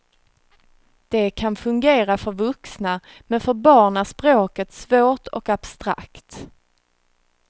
De kan fungera för vuxna, men för barn är språket svårt och abstrakt.